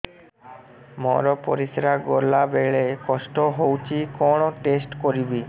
ମୋର ପରିସ୍ରା ଗଲାବେଳେ କଷ୍ଟ ହଉଚି କଣ ଟେଷ୍ଟ କରିବି